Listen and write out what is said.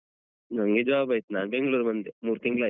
ನಂಗೆ job ಆಯ್ತು ನಾನ್ ಬೆಂಗ್ಳೂರಿಗ್ ಬಂದೆ ಮೂರ್ ತಿಂಗಳಾಯ್ತು.